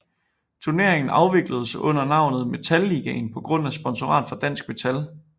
Turneringen afvikledes under navnet Metal Ligaen på grund af et sponsorat fra Dansk Metal